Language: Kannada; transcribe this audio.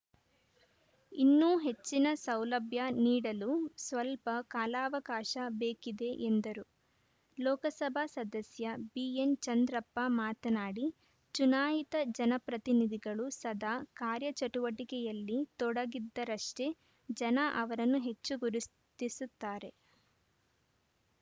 ಇನ್ನೂ ಹೆಚ್ಚಿನ ಸೌಲಭ್ಯ ನೀಡಲು ಸ್ವಲ್ಪ ಕಾಲಾವಕಾಶ ಬೇಕಿದೆ ಎಂದರು ಲೋಕಸಭಾ ಸದಸ್ಯ ಬಿಎನ್‌ಚಂದ್ರಪ್ಪ ಮಾತನಾಡಿ ಚುನಾಯಿತ ಜನಪ್ರತಿನಿಧಿಗಳು ಸದಾ ಕಾರ್ಯಚಟುವಟಿಕೆಯಲ್ಲಿ ತೊಡಗಿದ್ದರಷ್ಟೇ ಜನ ಅವರನ್ನು ಹೆಚ್ಚು ಗುರುತಿಸುತ್ತಾರೆ